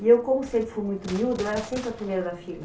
E eu, como sempre fui muito miúda, eu era sempre a primeira da fila.